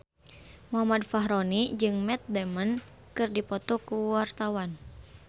Muhammad Fachroni jeung Matt Damon keur dipoto ku wartawan